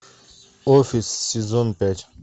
офис сезон пять